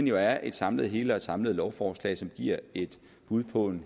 jo er et samlet hele og et samlet lovforslag som giver et bud på en